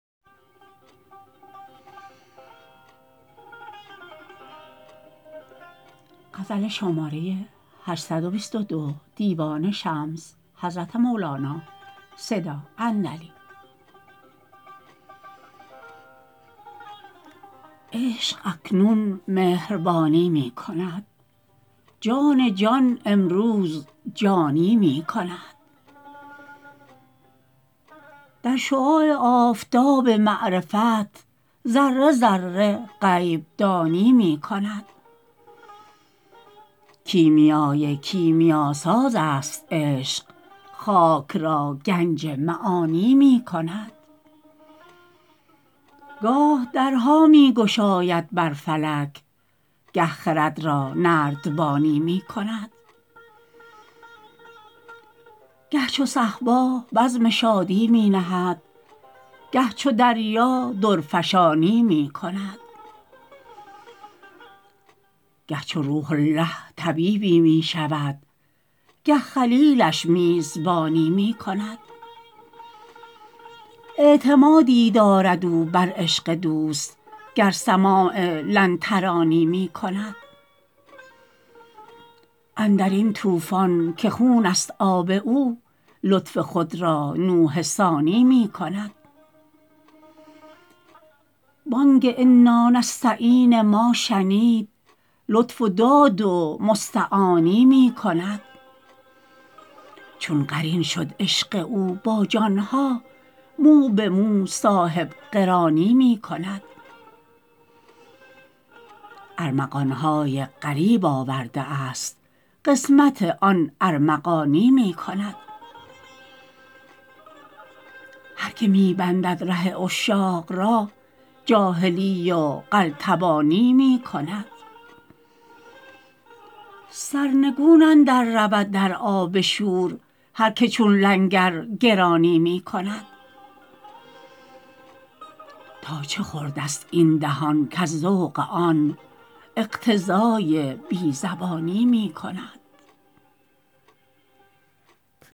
عشق اکنون مهربانی می کند جان جان امروز جانی می کند در شعاع آفتاب معرفت ذره ذره غیب دانی می کند کیمیای کیمیاسازست عشق خاک را گنج معانی می کند گاه درها می گشاید بر فلک گه خرد را نردبانی می کند گه چو صهبا بزم شادی می نهد گه چو دریا درفشانی می کند گه چو روح الله طبیبی می شود گه خلیلش میزبانی می کند اعتمادی دارد او بر عشق دوست گر سماع لن ترانی می کند اندر این طوفان که خونست آب او لطف خود را نوح ثانی می کند بانگ انانستعین ما شنید لطف و داد و مستعانی می کند چون قرین شد عشق او با جان ها مو به مو صاحب قرانی می کند ارمغان های غریب آورده است قسمت آن ارمغانی می کند هر که می بندد ره عشاق را جاهلی و قلتبانی می کند سرنگون اندررود در آب شور هر که چون لنگر گرانی می کند تا چه خوردست این دهان کز ذوق آن اقتضای بی زبانی می کند